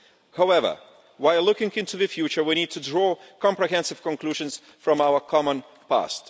However, while looking into the future, we need to draw comprehensive conclusions from our common past.